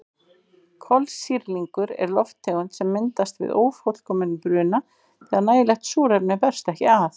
Kolsýrlingur er lofttegund sem myndast við ófullkominn bruna þegar nægilegt súrefni berst ekki að.